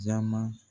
Jaama